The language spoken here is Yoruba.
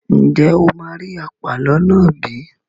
Ǹjẹ́ o máa rí àpàlọ́ náà bí?